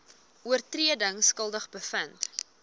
oortredings skuldig bevind